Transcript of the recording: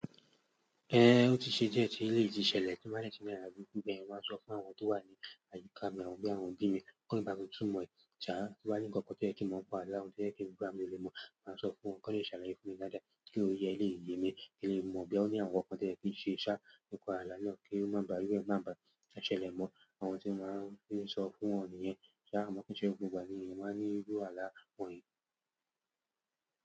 Ehn, ó ti ṣe di ẹ́ ti eléyìí tí ṣẹlẹ̀ tí n bá dẹ tì la àlá burúkú bẹ́yẹn ní, mo máa n sọ fún àwọn tó wà ní àyíká mi àwọn bí àwọn òbí mi ki won le bá mi túmọ̀ ṣà tí o ba ní ǹkan kan tí o ye kí ń mọ nipe ẹ, lo ri àwọn tí ẹ kí n gba mi lè mọ̀, màá sọ fún wọn ki won lè ṣàlàyé fún mi daádáà kí oye ẹ lé yèmi kí n lè mọ̀ boya àwọn ǹkan tí o yẹ kí ń ṣe ṣá, nìpa àlá náà kí ó má ba à ye ni wonba, ó má ba à ṣẹlẹ̀ mọ́ àwọn tí mo máa ń fi sọ fún wọn nìyẹn. Ṣa àmọn kí ń ṣe gbogbo ìgbà ni ènìyàn máa ní iru àwọn àlá wọ̀nyí?